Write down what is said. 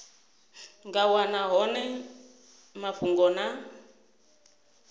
nga wana hone mafhungo na